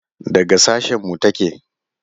Daga sashen mu take?